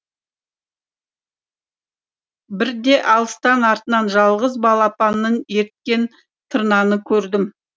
бірде алыстан артынан жалғыз балапанын ерткен тырнаны көрдім